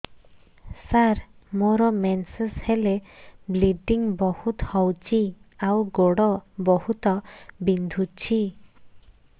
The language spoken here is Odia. ସାର ମୋର ମେନ୍ସେସ ହେଲେ ବ୍ଲିଡ଼ିଙ୍ଗ ବହୁତ ହଉଚି ଆଉ ଗୋଡ ବହୁତ ବିନ୍ଧୁଚି